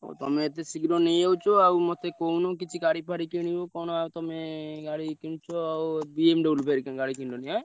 ହଉ ତମେ ଏତେ ଶୀଘ୍ର ନେଇଆଉଛ ଆଉ ମତେ କହୁନ କିଛି ଗାଡି ଫାଡି କିଣିବ କଣ ଆଉ ତମେ ଗାଡି କିଣୁଚ ଆଉ BMW ଫେରେ ଗାଡି କିଣିଲଣି ଏଁ?